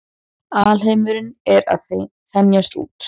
Alheimurinn er að þenjast út.